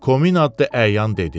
Komin addı əyan dedi.